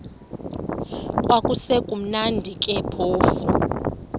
kwakusekumnandi ke phofu